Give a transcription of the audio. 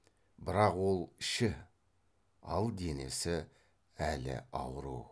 бірақ ол іші ал денесі әлі ауру